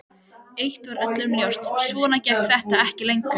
Eitt var öllum ljóst: Svona gekk þetta ekki lengur.